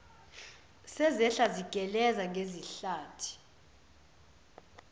sezehla zigeleza ngezihlathi